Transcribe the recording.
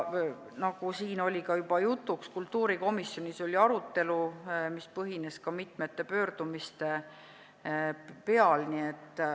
Nagu siin oli ka juba jutuks, kultuurikomisjonis oli arutelu, mis põhines mitmetel pöördumistel.